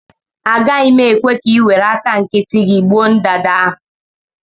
Agaghị m ekwe ka ị were aka nkịtị gị gbuo ndanda ahụ